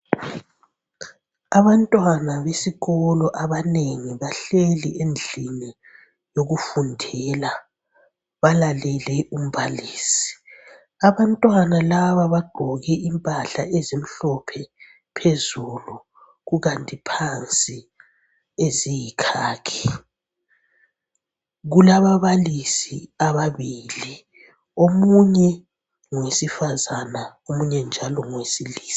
Abantwana besikolo abanengi bahleli endlini yokufundela balalele umbalisi. Abantwana laba bagqoke impahla ezimhlophe phezulu kukanti phansi eziyikhakhi. Kulababalisi ababili. Omunye ngowesifazana omunye njalo ngowesilisa.